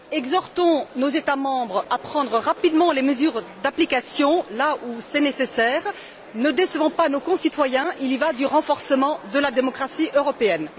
Exhortons nos États membres à prendre rapidement les mesures d'application là où c'est nécessaire, ne décevons pas nos concitoyens, il en va du renforcement de la démocratie européenne.